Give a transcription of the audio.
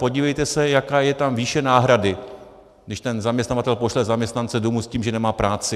Podívejte se, jaká je tam výše náhrady, když ten zaměstnavatel pošle zaměstnance domů s tím, že nemá práci.